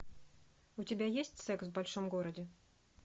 у тебя есть секс в большом городе